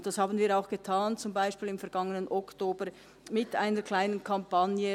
Dies haben wir auch getan, beispielsweise im vergangenen Oktober mit einer kleinen Kampagne.